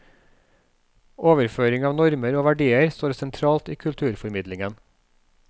Overføring av normer og verdier står sentralt i kulturformidlingen.